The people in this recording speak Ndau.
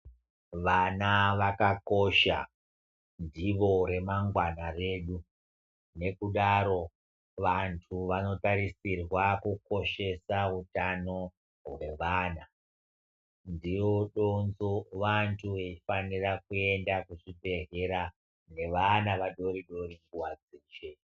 Vana vakakosha ndivo remangwana redu nekudaro vantu vanotarisirwa kukoshesa utano hwevana vantu vanofanira kuenda kuzvibhedhlera nevana vadoridori nguwa dzeshe.